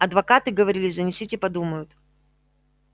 адвокаты говорили занесите подумают